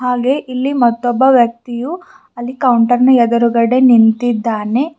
ಹಾಗೆ ಇಲ್ಲಿ ಮತ್ತೊಬ್ಬ ವ್ಯಕ್ತಿಯು ಅಲ್ಲಿ ಕೌಂಟರ್ ನ ಎದುರುಗಡೆ ನಿಂತಿದ್ದಾನೆ.